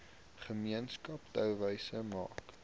gemeenskap touwys maak